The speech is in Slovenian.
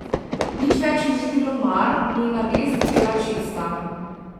Nič več ji ni bilo mar, njena vest je bila čista.